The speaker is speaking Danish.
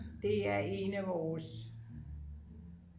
det er en af vores